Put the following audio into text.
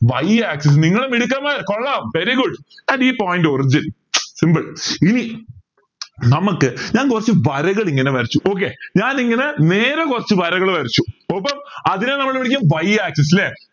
y axis നിങ്ങൾ മിടുക്കന്മാർ കൊള്ളാം very goodand ഈ point origin simple ഇനി നമുക്ക് ഞാൻ കുറച്ച് വരകൾ ഇങ്ങനെ വരച്ചു okay ഞാൻ ഇങ്ങനെ നേരെ കുറച്ച് വരകൾ വരച്ചു ഒപ്പം അതിനെ നമ്മൾ വിളിക്കും y axis ല്ലേ